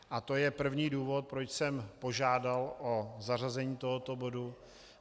A to je první důvod, proč jsem požádal o zařazení tohoto bodu.